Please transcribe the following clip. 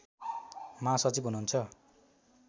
महासचिव हुनुहुन्छ